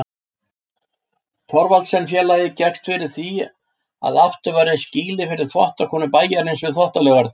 Thorvaldsensfélagið gekkst fyrir því að aftur var reist skýli fyrir þvottakonur bæjarins við Þvottalaugarnar.